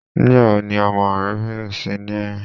Nígbàwo ni ọmọ rẹ bẹ̀rẹ̀ sí ni rin?